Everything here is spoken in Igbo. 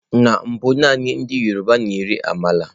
Na mbụ naanị ndị yọrọba na-eri ámàla.